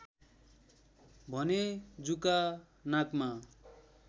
भने जुका नाकमा